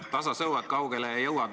Tasa sõuad, kaugele jõuad.